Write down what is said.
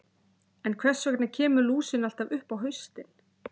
En hvers vegna kemur lúsin alltaf upp á haustin?